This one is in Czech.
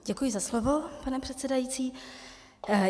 Děkuji za slovo, pane předsedající.